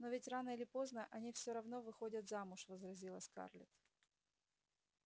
но ведь рано или поздно они всё равно выходят замуж возразила скарлетт